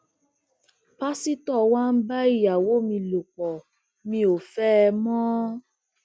pásítọ wá ń bá ìyàwó mi lọ pó mi ò fẹ ẹ mọ